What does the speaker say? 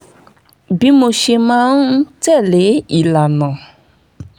bí mo ṣe máa ń tẹ̀ lé ìlànà